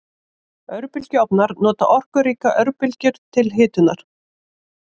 Örbylgjuofnar nota orkuríkar örbylgjur til hitunar.